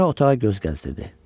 Sonra otağa göz gəzdirdi.